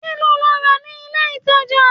Kíló lọ rà ní ilé-ìtàjà?